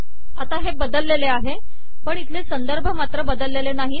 आता हे बदललेले आहे पण इथले संदर्भ मात्र बदललेले नाही